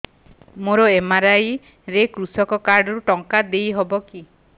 ମୋର ଏମ.ଆର.ଆଇ ରେ କୃଷକ କାର୍ଡ ରୁ ଟଙ୍କା ଦେଇ ହବ କି